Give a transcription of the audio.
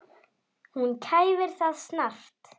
Hún kæfir það snarpt.